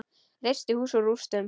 Reisti hús úr rústum.